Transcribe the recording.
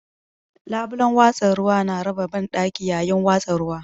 Labulen watsa ruwa na raba banɗaki yayin watsa ruwa.